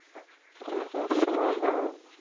ও ইয়ালাইকুমস-সালাম